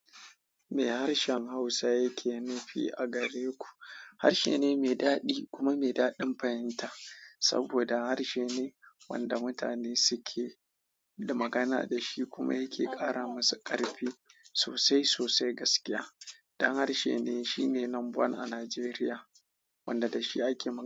Me harshen Hausa yake nufi a gare ku? Harshe ne mai daɗi kuma mai daɗin fahimta, saboda harshe ne wanda mutane suke da magana da shi kuma yake ƙara musu ƙarfi sosai sosai gaskiya. Dan harshe ne shine nomba one a Nigeria, wanda da shi ake magana.